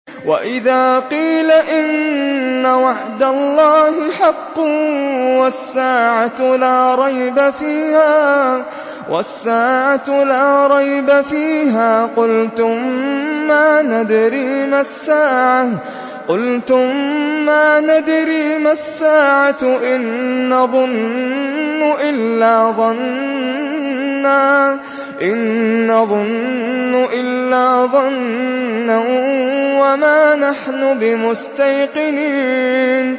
وَإِذَا قِيلَ إِنَّ وَعْدَ اللَّهِ حَقٌّ وَالسَّاعَةُ لَا رَيْبَ فِيهَا قُلْتُم مَّا نَدْرِي مَا السَّاعَةُ إِن نَّظُنُّ إِلَّا ظَنًّا وَمَا نَحْنُ بِمُسْتَيْقِنِينَ